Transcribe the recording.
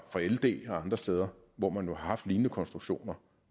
fra ld og andre steder hvor man har haft lignende konstruktioner